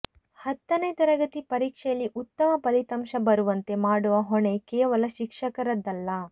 ಹತ್ತನೆ ತರಗತಿ ಪರೀಕ್ಷೆಯಲ್ಲಿ ಉತ್ತಮ ಫಲಿತಾಂಶ ಬರುವಂತೆ ಮಾಡುವ ಹೊಣೆ ಕೇವಲ ಶಿಕ್ಷಕರದ್ದಲ್ಲ